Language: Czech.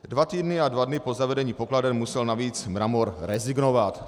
Dva týdny a dva dny po zavedení pokladen musel navíc Mramor rezignovat.